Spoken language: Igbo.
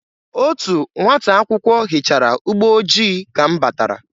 Otu nwata akwụkwọ hichara ụgbọ ojii ka m batara.